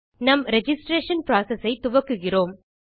நம் registration process ஐ துவக்குகிறோம்